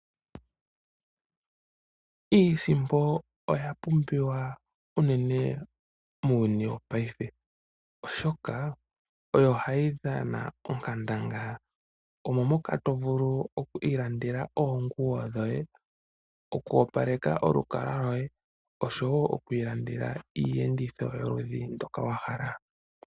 Iisimpo oya pumbiwa uunene muuyuni wopayife, oshoka oyo ha yi dhana onkandangala. Omo moka tovulu oku ilandela oonguwo dhoye, oku opaleka olukalwa lwoye oshowo oku ilandela iiyenditho yoludhi ndoka wa hala.